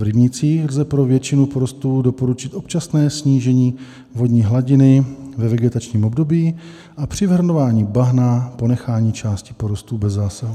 V rybnících lze pro většinu porostů doporučit občasné snížení vodní hladiny ve vegetačním období a při vyhrnování bahna ponechání části porostů bez zásahu.